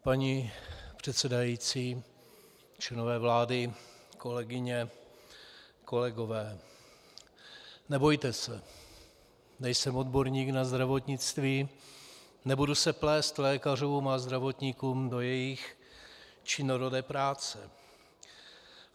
Paní předsedající, členové vlády, kolegyně, kolegové, nebojte se, nejsem odborník na zdravotnictví, nebudu se plést lékařům a zdravotníkům do jejich činorodé práce.